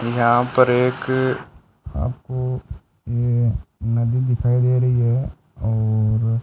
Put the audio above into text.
यहां पर एक आपको ये नदी दिखाई दे रही है और--